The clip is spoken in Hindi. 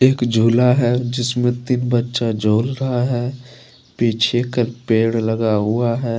एक झूला है जिसमे तीन बच्चा झूल रहा है पीछे पेड़ लगा हुआ है।